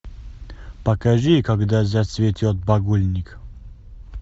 покажи когда зацветет богульник